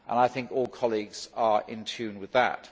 I think all colleagues are in tune with that.